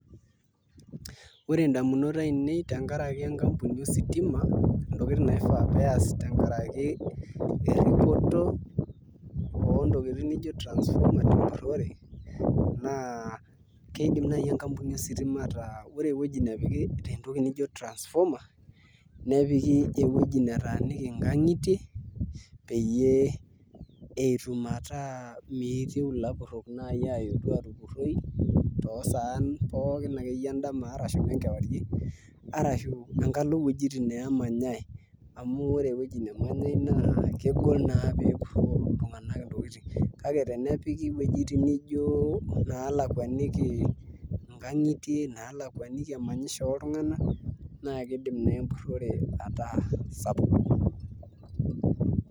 Ore indamunot ainei tenkaraki enkampuni ositima, intokiting naifaa peas tenkaraki erripoto ontokiting nijo transformer tempurrore, naa kidim nai enkampuni ositima ataa ore ewueji nepiki entoki nijo transformer, nepiki ewueji netaaniki inkang'itie peyie etum ataa miitieu ilapurrok nai atijing duo atupurroi tosaan pookin akeyie edama ashu nenkewarie, arashu enkalo wojiting nemanyai amu ore ewoji nemanyai naa kegol naa pepurroo iltung'anak intokiting. Kake tenepiki wuejiting nijo nalakwaniki inkang'itie, nalakwaniki emanyisho oltung'anak, na kidim naa empurrore ataa sapuk.